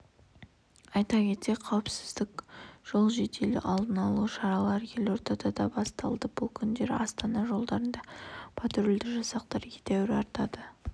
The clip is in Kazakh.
айта кетсек қауіпсіз жол жедел алдын алу шарасы елордада да басталды бұл күндері астана жолдарында патрульді жасақтар едәуір артады